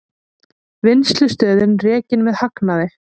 Vinnslustöðin rekin með hagnaði